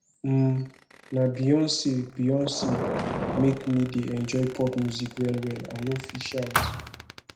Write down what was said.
um na beyonce beyonce make me dey enjoy pop music wellwell i no fit shout